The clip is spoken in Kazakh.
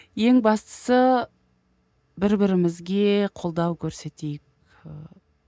ең бастысы бір бірімізге қолдау көрсетейік ыыы